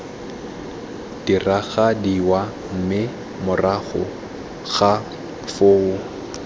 diragadiwa mme morago ga foo